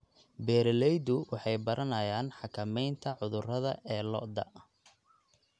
Beeraleydu waxay baranayaan xakameynta cudurrada ee lo'da.